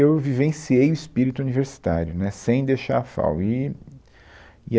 Eu vivenciei o espírito universitário, né, sem deixar a FAO, e e